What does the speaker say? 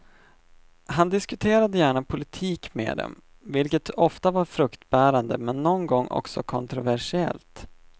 Han diskuterade gärna politik med dem, vilket ofta var fruktbärande men någon gång också kontroversiellt.